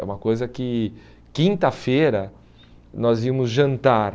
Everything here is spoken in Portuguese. É uma coisa que quinta-feira nós íamos jantar.